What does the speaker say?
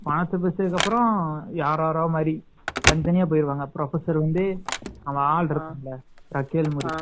பணத்த பிரிச்சதுக்கப்பறம் யார் யாரோ மாதிரி தனி தனியா போயிருவாங்க professor வந்து அங்க ஆள் இருப்பாங்கள